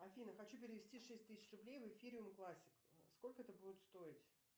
афина хочу перевести шесть тысяч рублей в эфириум классик сколько это будет стоить